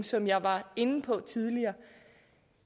som jeg var inde på tidligere